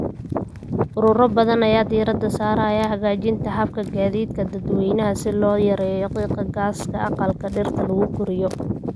Ururo badan ayaa diiradda saaraya hagaajinta hababka gaadiidka dadweynaha si loo yareeyo qiiqa gaaska aqalka dhirta lagu koriyo.